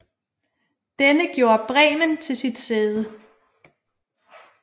Denne gjorde Bremen til sit sæde